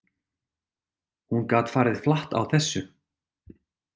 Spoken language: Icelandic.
Hún gat farið flatt á þessu.